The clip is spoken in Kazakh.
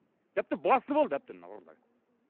тіпті басынып алды әбден мына ұрылар